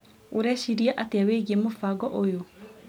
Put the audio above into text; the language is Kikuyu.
ũreciria atĩa wĩgie mũbango ũyũ?